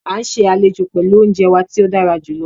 Á n ṣè alẹ́jo pẹ̀lú ọ̀unjẹ wà tí o dàrá júlọ